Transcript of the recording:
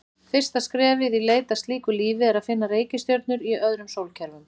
Fyrsta skrefið í leit að slíku lífi er að finna reikistjörnur í öðrum sólkerfum.